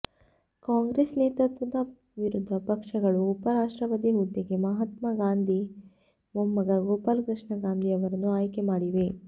ಕಾಂಗ್ರೆಸ್ ನೇತೃತ್ವದ ವಿರೋಧ ಪಕ್ಷಗಳು ಉಪ ರಾಷ್ಟ್ರಪತಿ ಹುದ್ದೆಗೆ ಮಹಾತ್ಮ ಗಾಂಧಿ ಮೊಮ್ಮಗ ಗೋಪಾಲಕೃಷ್ಣ ಗಾಂಧಿ ಅವರನ್ನು ಆಯ್ಕೆ ಮಾಡಿವೆ